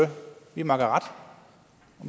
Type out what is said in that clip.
vi makker ret og